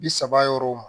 Bi saba yɔrɔw ma